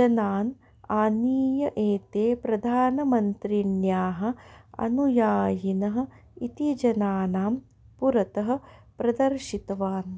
जनान् आनीय एते प्रधानमन्त्रिण्याः अनुयायिनः इति जनानां पुरतः प्रदर्शितवान्